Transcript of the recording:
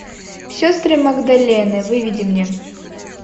сестры магдалены выведи мне